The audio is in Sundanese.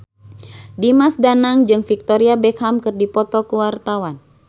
Dimas Danang jeung Victoria Beckham keur dipoto ku wartawan